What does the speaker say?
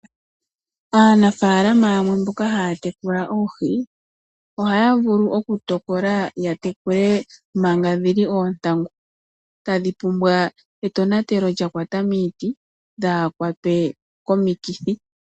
Aanafaalama yamwe mboka haya tekula oohi ohaya vulu okutokola yatekule manga dhii oontangu tadhi pumbwa etonatelo lyakwatamiti dhakwatwe komikithi.